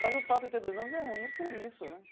Mas o fato de ter dois nomes é ruim por isso, né?